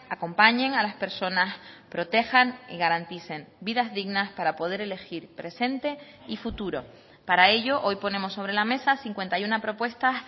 acompañen a las personas protejan y garanticen vidas dignas para poder elegir presente y futuro para ello hoy ponemos sobre la mesa cincuenta y uno propuestas